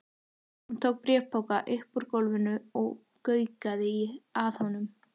Hún tók bréfpoka upp úr gólfinu og gaukaði að honum.